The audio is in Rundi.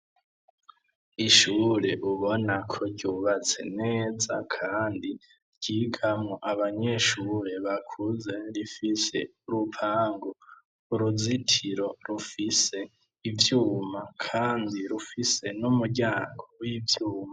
Ishure ubona ko ryubatse neza kandi ryigamwo abanyeshure bakuze; rifise urupangu, uruzitiro rufise ivyuma kandi rufise n'umuryango w'ivyuma.